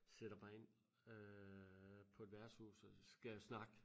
Sætter mig ind øh på et værtshus og skal snakke